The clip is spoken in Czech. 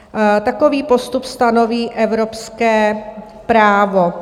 Takový postup stanoví evropské právo.